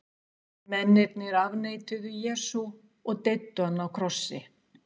mennirnir afneituðu jesú og deyddu hann á krossi